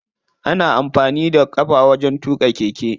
Ana amfani da ƙafa wajen tuƙa keke.